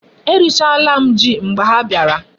E richala m Ji mgbe ha biara